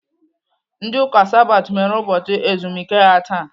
Ndị Ụka Sabat mere ụbọchị ezumike ha taa.